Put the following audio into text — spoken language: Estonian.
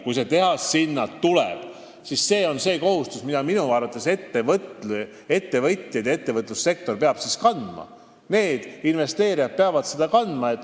Kui see tehas sinna tuleb, siis see on kohustus, mida minu arvates peavad kandma ettevõtjad ja ettevõtlussektor, investeerijad peavad seda kandma.